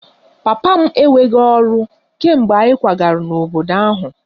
Papa m enweghị ọrụ kemgbe anyị kwagara n'obodo ahụ